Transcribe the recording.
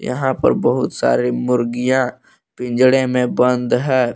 यहां पर बहुत सारी मुर्गियां पिजड़े में बंद है।